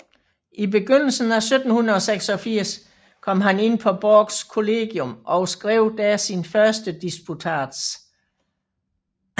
I begyndelsen af 1786 kom han ind på Borchs Kollegium og skrev der sin første disputats